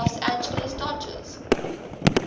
los angeles dodgers